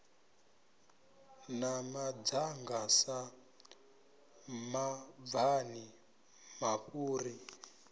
na madzanga sa mabvani mafhuri